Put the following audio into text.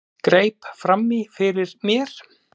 Greip fram í fyrir mér.